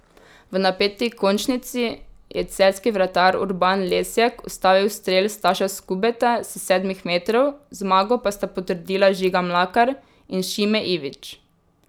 V napeti končnici je celjski vratar Urban Lesjak ustavil strel Staša Skubeta s sedmih metrov, zmago pa sta potrdila Žiga Mlakar in Šime Ivić.